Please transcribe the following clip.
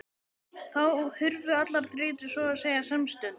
Þá hurfu allar þrautir svo að segja samstundis.